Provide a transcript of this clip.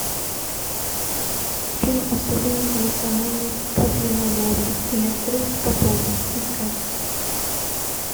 фильм особенности национальной подледной ловли или отрыв по полной искать